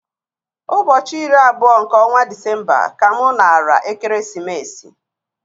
Ụbọchị iri abụọ nke ọnwa Disemba ka mụ nara ekeresimesi